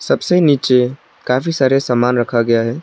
सबसे नीचे काफी सारे सामान रखा गया है।